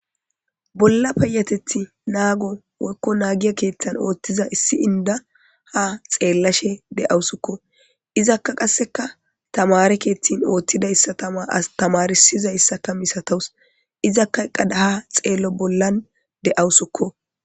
Bolla payatethi nago woyko nahiza keetha othiza issi inda ha xeelasje de'awsiko izaka qaseka tamare keethan tamarsiza asika daanaws izaka eqada ha xeelo bollan de'awsiko